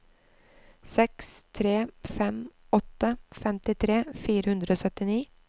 seks tre fem åtte femtitre fire hundre og syttini